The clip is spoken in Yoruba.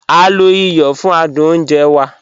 A lo ìyọ̀ fún àdùn ọ̀nje wà.